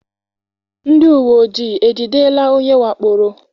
Ndị uwe ojii ejidela onye wakporo?